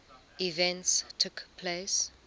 events took place